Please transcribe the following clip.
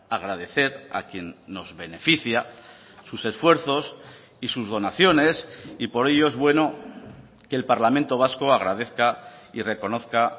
agradecer a quien nos beneficia a sus esfuerzos y sus donaciones y por ello es bueno que el parlamento vasco agradezca y reconozca